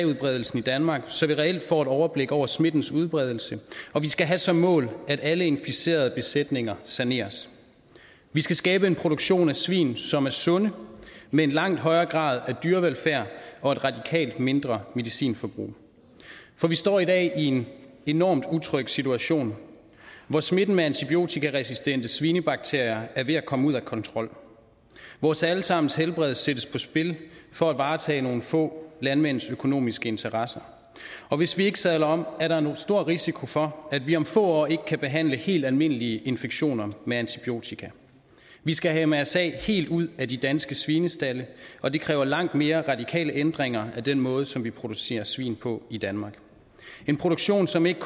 udbredelsen i danmark så vi reelt får et overblik over smittens udbredelse og vi skal have som mål at alle implicerede besætninger saneres vi skal skabe en produktion af svin som er sunde med en langt højere grad af dyrevelfærd og et radikalt mindre medicinforbrug for vi står i dag i en enormt utryg situation hvor smitten med antibiotikaresistente svinebakterier er ved at komme ud af kontrol vores alle sammens helbred sættes på spil for at varetage nogle få landmænds økonomiske interesser og hvis vi ikke sadler om er der en stor risiko for at vi om få år ikke kan behandle helt almindelige infektioner med antibiotika vi skal have mrsa helt ud af de danske svinestalde og det kræver langt mere radikale ændringer af den måde som vi producerer svin på i danmark en produktion som ikke